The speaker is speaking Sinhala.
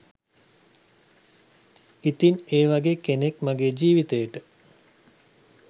ඉතින් ඒ වගේ කෙනෙක් මගේ ජීවිතයට